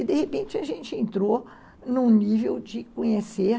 E, de repente, a gente entrou num nível de conhecer...